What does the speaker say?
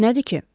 Nədir ki?